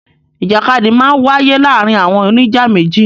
Ìjàkadì máa ń wáyé láàárin àwọn oníjà méjì.